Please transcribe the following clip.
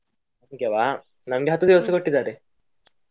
ನಮ್ಗೆವಾ, ನಮ್ಗೆ ಹತ್ತು ದಿವಸ ಕೊಟ್ಟಿದ್ದಾರೆ.